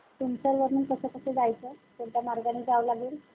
सिंचर वरनं कसं कसं जायचं? कोणत्या मार्गाने जावं लागेल?